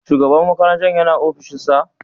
Shugaban makarantar yana ofishinsa?